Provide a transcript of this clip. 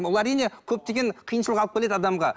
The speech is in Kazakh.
бұл әрине көптеген қиыншылық алып келеді адамға